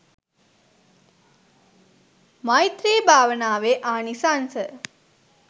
මෛත්‍රී භාවනාවේ ආනිසංස